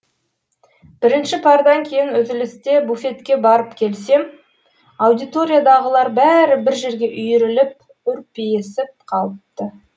бірінші пардан кейін үзілісте буфетке барып келсем аудиториядағылар бәрі бір жерге үйіріліп үрпиісіп қалыпты